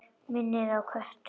Minnir á kött.